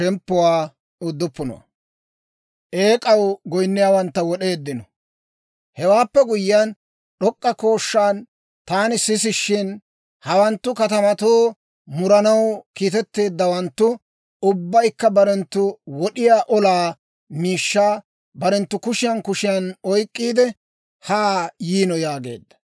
Hewaappe guyyiyaan, d'ok'k'a kooshshaan, taani sisishshin, «Hawanttu, katamato muranaw kiitetteeddawanttu, ubbaykka barenttu wod'iyaa olaa miishshaa barenttu kushiyaan kushiyaan oyk'k'iide, haa yiino» yaageedda.